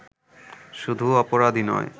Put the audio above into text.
শুধু অপরাধই নয়